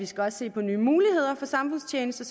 skal se på nye muligheder for samfundstjeneste